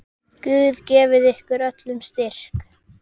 Guð gefi ykkur öllum styrk.